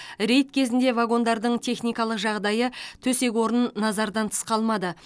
рейд кезінде вагондардың техникалық жағдайы төсек орын назардан тыс қалмады